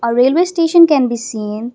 railway station can be seen.